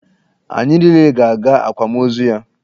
Anyị niile ga-aga akwamozu ya.